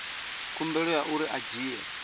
khumbelo ya uri a dzhie